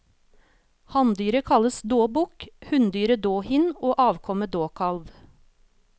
Hanndyret kalles dåbukk, hunndyret dåhind og avkommet dåkalv.